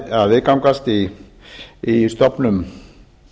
sem viðgangast í stofnum